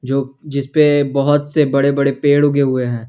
जो जिस पे बहोत से बड़े बड़े पेड़ उगे हुए हैं।